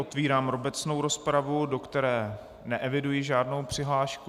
Otevírám obecnou rozpravu, do které neeviduji žádnou přihlášku.